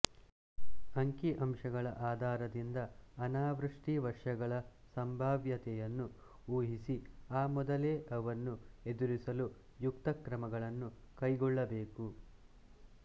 ಅಂಕಿ ಅಂಶಗಳ ಆಧಾರದಿಂದ ಅನಾವೃಷ್ಟಿ ವರ್ಷಗಳ ಸಂಭಾವ್ಯತೆಯನ್ನು ಊಹಿಸಿ ಆ ಮೊದಲೇ ಅವನ್ನು ಎದುರಿಸಲು ಯುಕ್ತ ಕ್ರಮಗಳನ್ನು ಕೈಗೊಳ್ಳಬೇಕು